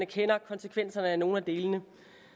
kender konsekvenserne af nogle af delene